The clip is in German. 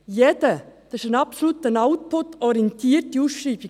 Das ist eine absolut output-orientierte Ausschreibung.